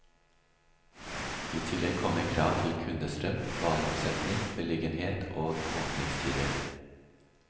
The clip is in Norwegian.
I tillegg kommer krav til kundestrøm, vareomsetning, beliggenhet og åpningstider.